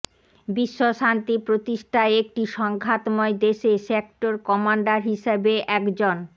বিশ্বশান্তি প্রতিষ্ঠায় একটি সংঘাতময় দেশে সেক্টর কমান্ডার হিসেবে একজন